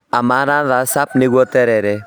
Amaranthus spp nĩguo terere